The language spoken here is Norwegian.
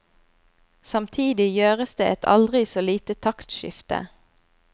Samtidig gjøres det et aldri så lite taktskifte.